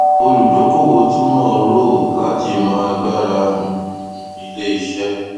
olùdókòwò túmọ roe láti mọ agbára um iléiṣẹ